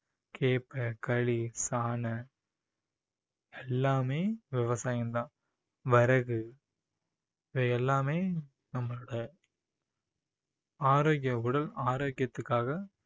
கேப்பை, களி, சாணை எல்லாமே விவசாயம் தான் வரகு இவை எல்லாமே நம்மளோட ஆரோக்கிய உடல் ஆரோக்கியத்துக்காக